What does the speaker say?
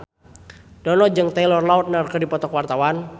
Dono jeung Taylor Lautner keur dipoto ku wartawan